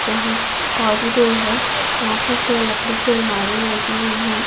यहां कॉरिडोर है यहां पर तो लकड़ी की अलमारियां लगी हुई है।